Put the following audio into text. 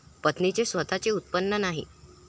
पत्नीचे स्वतःचे उत्पन्न नाही.